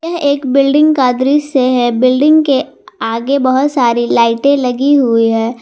यह एक बिल्डिंग का दृश्य है बिल्डिंग के आगे बहोत सारी लाइटे लगी हुई है।